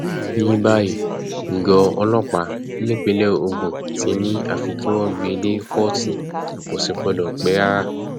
ní báyìí gọ ọlọpàá nípínlẹ ogun ti ní àfi kí wọn gbé e dé kóòtù kó sì gbọdọ pẹ rárá